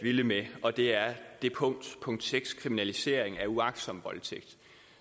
vilde med og det er punkt seks kriminalisering af uagtsom voldtægt